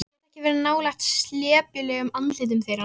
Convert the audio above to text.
Get ekki verið nálægt slepjulegum andlitum þeirra.